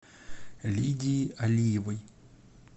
лидии алиевой